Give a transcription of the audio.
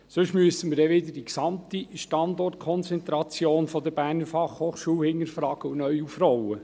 Sonst müssen wir dann wieder die gesamte Standortkonzentration der BFH hinterfragen und neu aufrollen.